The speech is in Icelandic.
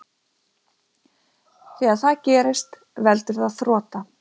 þegar það gerist veldur það þrota